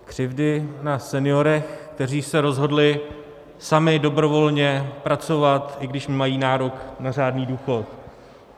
Křivdy na seniorech, kteří se rozhodli sami dobrovolně pracovat, i když mají nárok na řádný důchod.